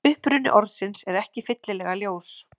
Uppruni orðsins er ekki fyllilega ljós.